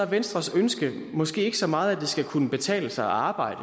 venstres ønske måske ikke så meget at det skal kunne betale sig at arbejde